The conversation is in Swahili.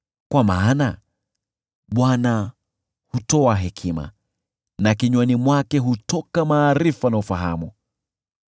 Kwa maana Bwana hutoa hekima, na kinywani mwake hutoka maarifa na ufahamu.